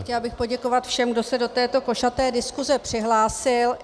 Chtěla bych poděkovat všem, kdo se do této košaté diskuze přihlásili.